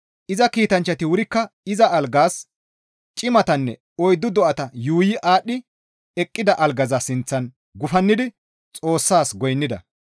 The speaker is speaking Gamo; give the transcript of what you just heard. Iza kiitanchchati wurikka iza algaas, cimatanne oyddu do7ata yuuyi aadhdhi eqqida algaza sinththan gufannidi Xoossas goynnida.